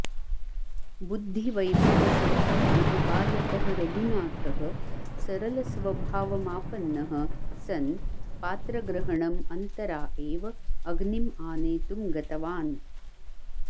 बुद्धिवैभवसम्पन्नः बालकः रघुनाथः सरलस्वभावमापन्नः सन् पात्रग्रहणम् अन्तरा एव अग्निं आनेतुम् गतवान्